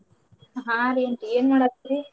ಹಾ ರೀ aunty ಏನ್ ಮಾಡಾತ್ತೀರಿ?